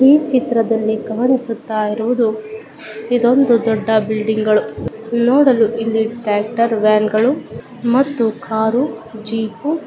ಈ ಚಿತ್ರದಲ್ಲಿ ಕಾಣಿಸುತ್ತ ಇರುವುದು ಇದೊಂದು ಬಿಲ್ಡಿಂಗ್ ಗಳು. ನೋಡಲು ಇಲ್ಲಿ ಟ್ಯಾಟ್ಕ್ಟರ್ ವ್ಯಾನ್ ಗಳು ಕಾರು ಜೀಪು --